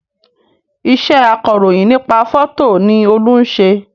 Iṣẹ́ akọ̀rọ̀yìn nípa fótò ni Olú ń ṣe